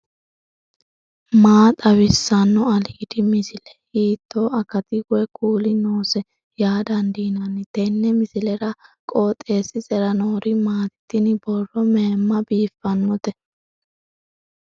maa xawissanno aliidi misile ? hiitto akati woy kuuli noose yaa dandiinanni tenne misilera? qooxeessisera noori maati ? tini borro mayimma biiffannote